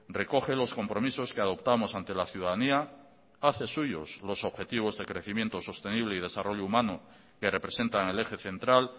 recoge los compromisos que adoptamos ante la ciudadanía hace suyos los objetivos de crecimiento sostenible y desarrollo humano que representan el eje central